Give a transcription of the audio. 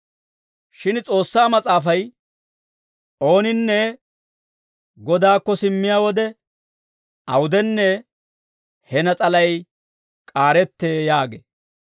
Shin S'oossaa Mas'aafay, «Ooninne Godaakko simmiyaa wode, awudenne he nas'alay k'aarettee» yaagee.